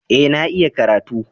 Eh, na iya karatu.